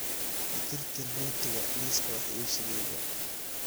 ka tirtir rootiga liiska wax iibsigayga